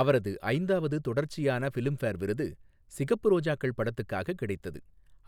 அவரது ஐந்தாவது தொடர்ச்சியான ஃபிலிம்பேர் விருது சிகப்பு ரோஜாக்கள் படத்துக்காக கிடைத்தது,